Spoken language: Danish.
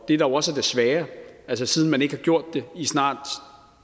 det er jo også det svære altså siden man ikke har gjort det i snart